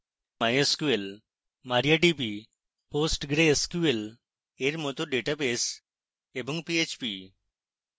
mysql mariadb বা postgresql এর মত ডেটাবেস এবং php